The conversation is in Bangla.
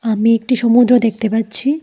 আমি একটি সমুদ্র দেখতে পাচ্ছি।